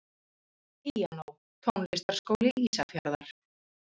Píanó Tónlistarskóli Ísafjarðar.